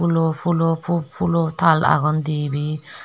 phoolo phulo phu phulo thal agon dibey.